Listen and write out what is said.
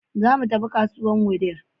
Zo mu tafi kasuwar Wudil.